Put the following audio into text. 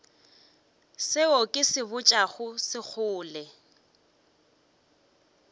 seo ke se botšago sekgole